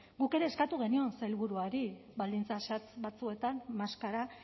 guk ere eskatu genion sailburuari baldintza zehatz batzuetan maskara